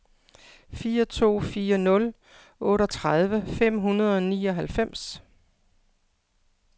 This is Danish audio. fire to fire nul otteogtredive fem hundrede og nioghalvfems